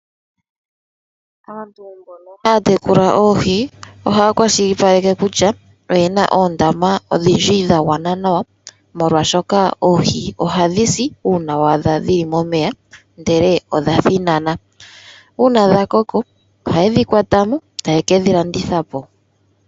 Aantu mbono haya tekula oohii ohaya kwashilipaleke kutya oyena ondama odhindji dhangwana nawa molwa shoka oohii ohadhisi una wadha dhili momeya ndele odha thinana, una dhakoko oha yedhikwatamo eta yekedhilanditha po.